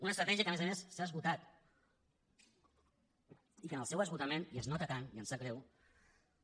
una estratègia que a més a més s’ha esgotat i que en el seu esgotament i es nota tant i em sap greu